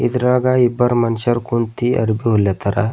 ಇದರಾಗ ಇಬ್ರು ಮನುಷ್ಯರು ಕುಂತಿ ಅರ್ಬಿ ಹೊಲಿಯತ್ತರ.